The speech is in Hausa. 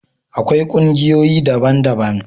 akwai kungiyoyi daban daban